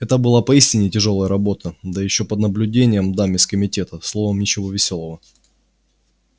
это была поистине тяжёлая работа да ещё под наблюдением дам из комитета словом ничего весёлого